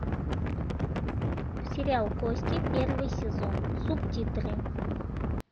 сериал кости первый сезон субтитры